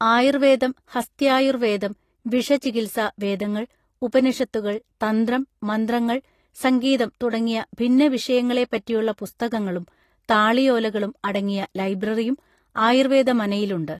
ആയുർവേദം ഹസ്ത്യായുർവേദം വിഷചികിത്സ വേദങ്ങൾ ഉപനിഷത്തുകൾ തന്ത്രം മന്ത്രങ്ങൾ സംഗീതം തുടങ്ങിയ ഭിന്നവിഷയങ്ങളെപ്പറ്റിയുള്ള പുസ്തകങ്ങളും താളിയോലകളും അടങ്ങിയ ലൈബ്രറിയും ആയുർവേദ മനയിലുണ്ട്